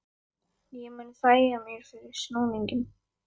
Ég mun þægja þér fyrir snúninginn